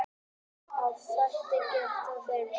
Félagslegir þættir geta truflað svefn.